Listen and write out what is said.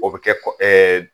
O bɛ kɛ ɛɛ